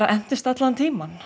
entist allan tímann